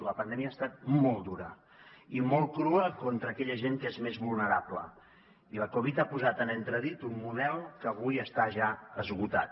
la pandèmia ha estat molt dura i molt crua contra aquella gent que és més vulnerable i la covid ha posat en entredit un model que avui està ja esgotat